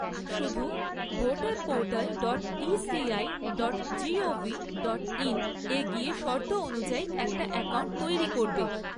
শুধু voter portal dot ECI dot gov dot in এ গিয়ে শর্ত অনুযায়ী একটা অ্যাকাউন্ট তৈরি করবে।